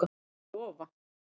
Já, ég lofa